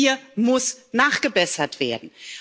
Hier muss nachgebessert werden.